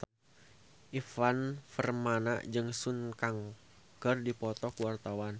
Ivan Permana jeung Sun Kang keur dipoto ku wartawan